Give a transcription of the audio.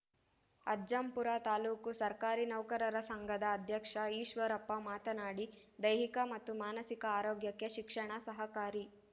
ಅಜ್ಜಂಪುರ ತಾಲೂಕು ಸರ್ಕಾರಿ ನೌಕರರ ಸಂಘದ ಅಧ್ಯಕ್ಷ ಈಶ್ವರಪ್ಪ ಮಾತನಾಡಿ ದೈಹಿಕ ಮತ್ತು ಮಾನಸಿಕ ಆರೋಗ್ಯಕ್ಕೆ ಶಿಕ್ಷಣ ಸಹಕಾರಿ